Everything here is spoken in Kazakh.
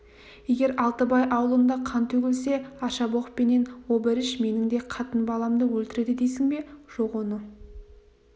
егер алтыбай аулында қан төгілсе аршабоқ пенен обыріш менің де қатын-баламды өлтіреді дейсің бе жоқ оны